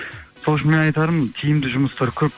сол үшін мен айтарым тиімді жұмыстар көп